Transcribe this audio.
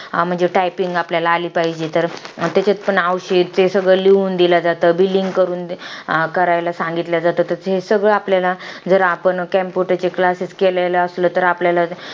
हा म्हणजे typing आपल्याला आली पाहिजे. त्याच्यात पण औषध ते सगळं लिहून दिलं जातं. billing करून, करायला सांगितलं जातं. तर हे सगळं आपल्याला, आपण जर computer चे classes केलेले असले तर, आपल्याला